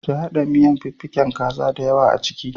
Ki haɗa miyan da fiffikin kaza diyawa a ciki.